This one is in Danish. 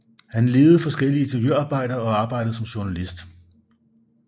Han ledede forskellige ingeniørarbejder og arbejdede som journalist